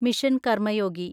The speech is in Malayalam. മിഷൻ കർമ്മയോഗി